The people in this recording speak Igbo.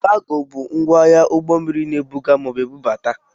Kago bụ ngwaahịa ụgbọmmiri na-ebuga maọbụ budata.